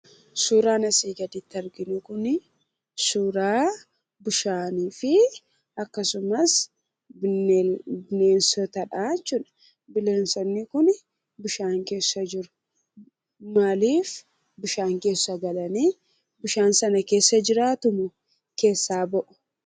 Suuraan asi gaditti arginu kun, suuraa bishaanii fi suuraa bineensoota jechuudha. bineensoonni kun, bishaan keessa kan jiraatanidha. maaliif bishaan keessa jiraatu?,bishaan sana keessa jiraatumo?,keessa ba'u?